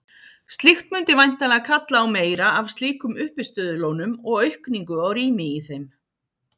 Slíkt mundi væntanlega kalla á meira af slíkum uppistöðulónum og aukningu á rými í þeim.